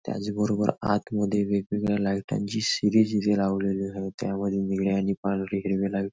त्याच बरोबर आतमध्ये वेगवेगळ्या लायटांची सिरीज इथे लावलेली आहे त्यावर निळी आणि पांढरी हिरवी लाइट --